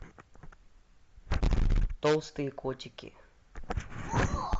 толстые котики